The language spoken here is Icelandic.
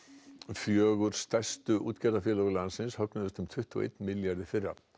fjögur stærstu útgerðarfélög landsins högnuðust um tuttugu og einn milljarð í fyrra